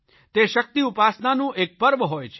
તે શકિત ઉપાસનાનું એક પર્વ હોય છે